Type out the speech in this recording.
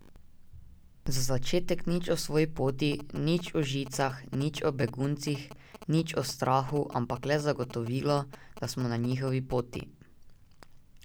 Za začetek nič o svoji poti, nič o žicah, nič o beguncih, nič o strahu, ampak le zagotovilo, da smo na njihovi poti.